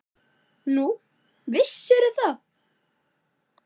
Nú, vissir þú það?